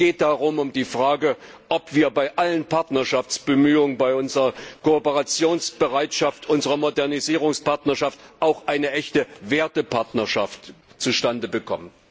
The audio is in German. Es geht darum um die Frage, ob wir bei allen Partnerschaftsbemühungen, bei unserer Kooperationsbereitschaft, unserer Modernisierungspartnerschaft auch eine echte Wertepartnerschaft zustande bekommen.